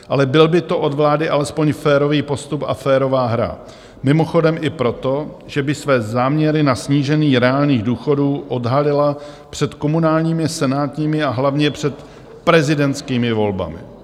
Ale byl by to od vlády alespoň férový postup a férová hra, mimochodem i proto, že by své záměry na snížení reálných důchodů odhalila před komunálními, senátními a hlavně před prezidentskými volbami.